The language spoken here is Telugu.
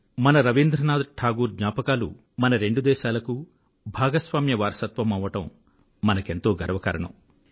మన రవీంద్రనాథ్ టాగూర్ జ్ఞాపకాలు మన రెండుదేశాలకూ భాగస్వామ్య వారసత్వమవ్వడంమనకెంతో గర్వకారణం